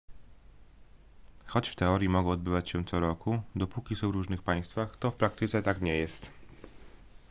choć w teorii mogą odbywać się co roku dopóki są w różnych państwach to w praktyce tak nie jest